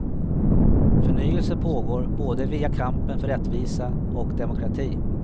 Förnyelse pågår både via kampen för rättvisa och demokrati.